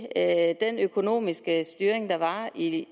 at den økonomiske styring der var i